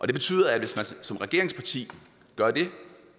det betyder at man som regeringsparti